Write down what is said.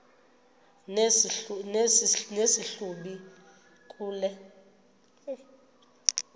nesi hlubi kule